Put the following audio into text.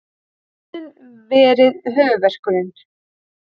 Vörnin verið höfuðverkurinn